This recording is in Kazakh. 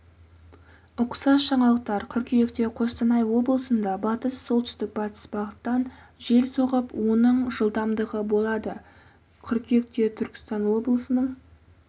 ұқсас жаңалықтар қыркүйекте қостанай облысында батыс солтүстік-батыс бағыттан жел соғып оның жылдамдығы болады қыркүйекте түркістан облысының